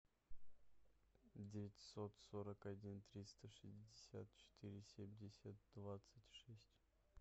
девятьсот сорок один триста шестьдесят четыре семьдесят двадцать шесть